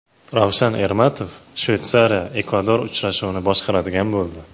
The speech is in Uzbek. Ravshan Ermatov ShveysariyaEkvador uchrashuvini boshqaradigan bo‘ldi.